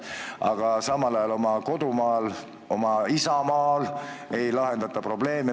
Aga samal ajal siin kohapeal ei lahendata probleeme.